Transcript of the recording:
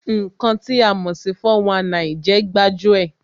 Ǹkan tí a mò sí 419 jẹ́ gbájú ẹ̀